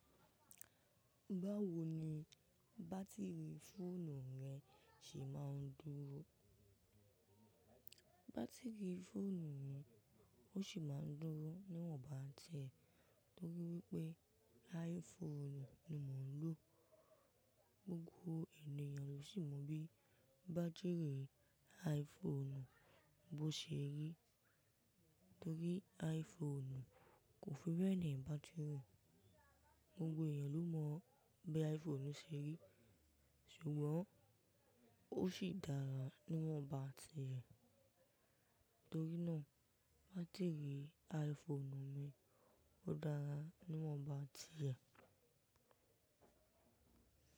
Báwo ni bátírì fóònù rẹ ṣe máa ń dúró? Bátírì fóònù mi, ó sì máa ń dúró níwọ̀n bá tiẹ̀ torí pé iPhone ni mò ń lò. Gbógbó ènìyàn ló sì mọ bí bátírì iPhone bó ṣe rí torí iPhone kò fi bẹ́ẹ̀nì bátírì. Gbógbò ènìyàn ló mọ bí iPhone ṣe rí, ṣùgbọ́n ó sì dára níwọ̀n bá tiẹ̀. Toriná, bátírì iPhone mi ó dára níwọ̀n bá tiẹ̀.